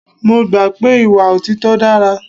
Mo gbà pé ìwà òtítọ́ dára.